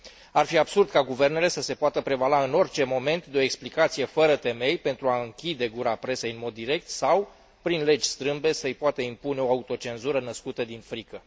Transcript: Ar fi absurd ca guvernele să se poată prevala în orice moment de o explicație fără temei pentru a închide gura presei în mod direct sau, prin legi strâmbe, să i poată impune o autocenzură născută din frică.